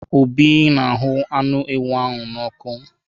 Obi na ahụ́ anụ ewu na ọ́kụ.